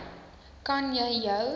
kan jy jou